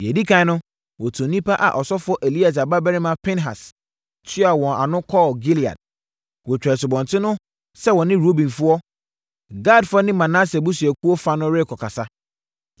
Deɛ ɛdi ɛkan no, wɔtuu nnipa a ɔsɔfoɔ Eleasa babarima Pinehas tua wɔn ano kɔɔ Gilead. Wɔtwaa asubɔnten no sɛ wɔne Rubenfoɔ, Gadfoɔ ne Manase abusuakuo fa no rekɔkasa.